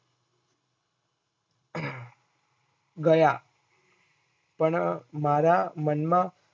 ગયા પણ મારા મનમાં